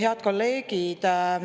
Head kolleegid!